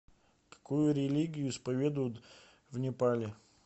какую религию исповедуют в непале